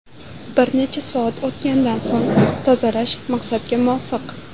Bir necha soat o‘tgandan so‘ng tozalash maqsadga muvofiq.